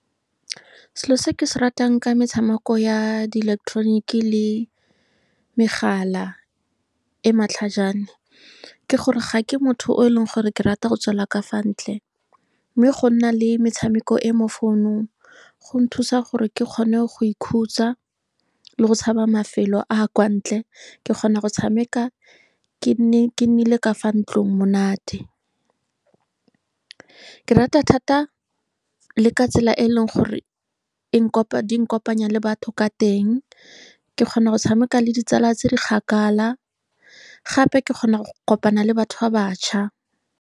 Selo se ke se ratang ka metshameko ya diileketoroniki le megala e matlhajana ke gore ga ke motho o e leng gore ke rata go tswela ka fa ntle. Mme go nna le metshameko e mo founung go nthusa gore ke kgone go ikhutsa le go tshaba mafelo a a kwa ntle. Ke kgona go tshameka ke ke ka fa ntlong monate ke rata thata le ka tsela e e leng gore e di nkopanya le batho ka teng. Ke kgona go tshameka le ditsala tse di kgakala, gape ke kgona go kopana le batho ba batjha.